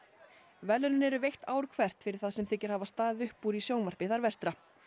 verðlaunin eru veitt ár hvert fyrir það sem þykir hafa staðið upp úr í sjónvarpi þar vestra